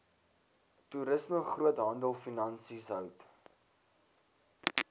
toerisme groothandelfinansies hout